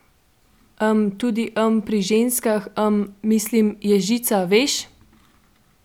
Em, tudi, em, pri ženskah, em, mislim, je žica, veš?